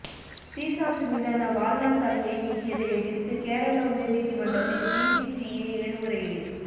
ஸ்ரீசாந்த் மீதான வாழ்நாள் தடையை நீக்கியதை எதிர்த்து கேரள உயர் நீதிமன்றத்தில் பிசிசிஐ மேல்முறையீடு